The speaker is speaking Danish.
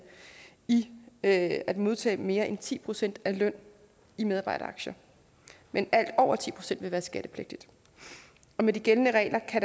i at modtage mere end ti procent af lønnen i medarbejderaktier men alt over ti procent vil være skattepligtigt med de gældende regler kan